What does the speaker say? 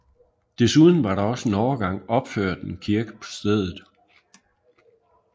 Desuden var der også en overgang opført en kirke på stedet